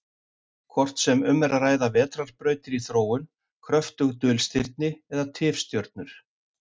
Hvort sem um er að ræða vetrarbrautir í þróun, kröftug dulstirni eða tifstjörnur.